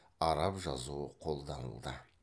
араб жазуы қолданылды